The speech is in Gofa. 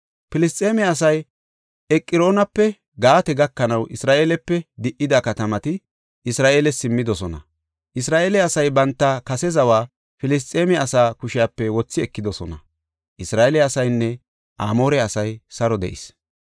Filisxeeme asay Eqroonape Gaate gakanaw Isra7eelepe di77ida katamati Isra7eeles simmidosona. Isra7eele asay banta kase zawa Filisxeeme asaa kushepe wothi ekidosona. Isra7eele asaynne Amoore asay saro de7is.